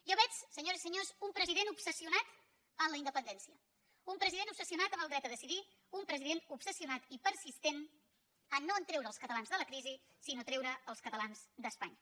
jo veig senyores i senyors un president obsessionat amb la independència un president obsessionat amb el dret a decidir un president obsessionat i persistent no a treure els catalans de la crisi sinó a treure els catalans d’espanya